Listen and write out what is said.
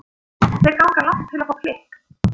Þeir ganga langt til að fá klikk.